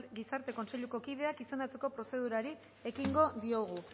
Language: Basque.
gizarte kontseiluko kideak izendatzeko prozedurari ekingo diogu